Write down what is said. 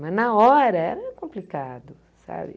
Mas na hora é complicado, sabe?